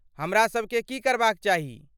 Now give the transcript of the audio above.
हमरा सभके की करबाक चाही?